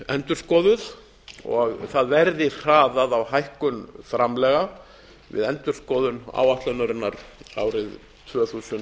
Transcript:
endurskoðuð og það verði hraðað á hækkun framlaga við endurskoðun áætlunarinnar árið tvö þúsund